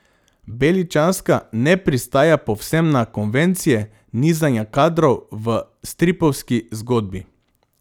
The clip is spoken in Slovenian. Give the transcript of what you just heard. Beličanska ne pristaja povsem na konvencije nizanja kadrov v stripovski zgodbi.